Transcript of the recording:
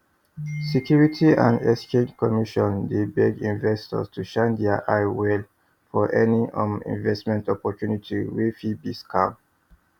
security and exchange commission dey beg investors to shine eye well for any um investment opportunity wey fit be scam